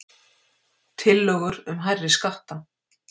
Tillögur um hærri skatta